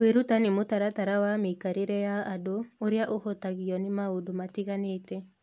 Kwĩruta nĩ mũtaratara wa mĩikarĩre ya andũ ũrĩa ũhutagio nĩ maũndũ matiganĩte.